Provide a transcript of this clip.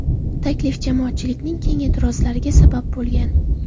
Taklif jamoatchilikning keng e’tirozlariga sabab bo‘lgan.